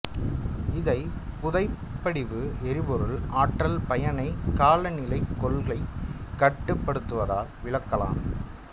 இதைப் புதைபடிவ எரிபொருள் ஆற்றல் பயனைக் காலநிலைக் கொள்கை கட்டுபடுத்துவதால் விளக்கலாம்